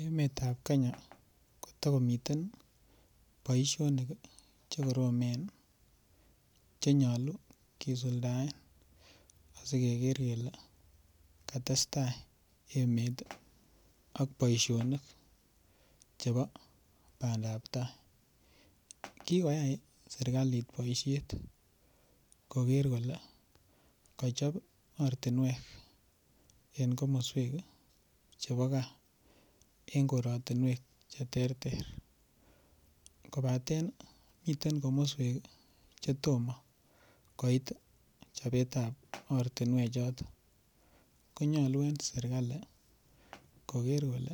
Emetab Kenya kotakomiten boisionik Che koromen Che nyolu kisuldaen asi keger kele katestai emet ak boisionik chebo bandap tai kigoyai serkalit boisiet koger kole kochob ortinwek en komoswek chebo gaa en koratinwek Che terter kobaten miten komoswek Che tomo koit chobetab ortinwechoton ko nyolu en serkali koger kole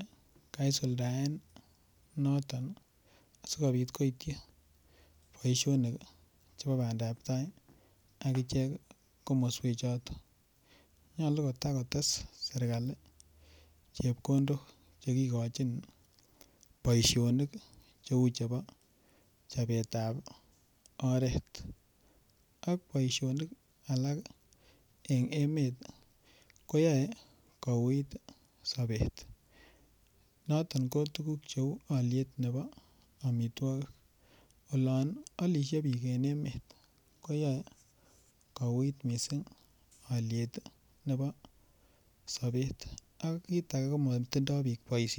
kaisuldaen noton asikobit koityi boisionik chebo bandap tai agichek komoswek choton nyolu kotakotes serkali chepkondok Che kigochin boisionik Cheu chebo chobetab oret ak boisionik alak en emet koyoe kouit sobet mising ko alyet nebo tuguk cheu amitwogik olon alisie koyoe kouit mising alyet nebo sobet ak kit age ko matindoi bik boisionik